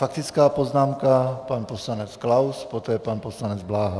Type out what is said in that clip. Faktická poznámka, pan poslanec Klaus, poté pan poslanec Bláha.